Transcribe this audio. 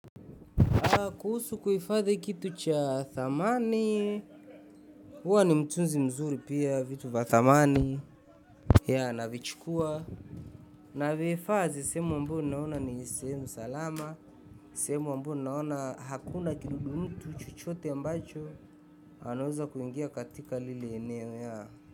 Kuhusu kuhifadhi kitu cha thamani, huwa ni mtunzi mzuri pia, vitu vya thamani ya navichukua. Navihifadhi sehemu ambayo naona ni sehemu salama, sehemu ambayo naona hakuna kidudu mtu chochote ambacho, anaweza kuingia katika lile eneo yaa.